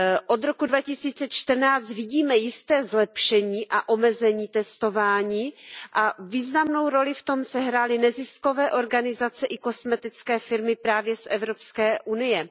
Od roku 2014 vidíme jisté zlepšení a omezení testování a významnou roli v tom sehrály neziskové organizace i kosmetické firmy právě z Evropské unie.